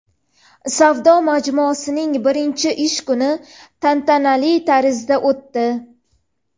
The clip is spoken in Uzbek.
Savdo majmuasining birinchi ish kuni tantanali tarzda o‘tdi.